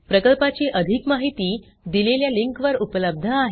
प्रकल्पाची अधिक माहिती दिलेल्या लिंकवर उपलब्ध आहे